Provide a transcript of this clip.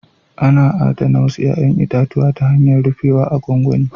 Ana adana wasu 'ya'yan itatuwa ta hanyar rufewa a gwangwani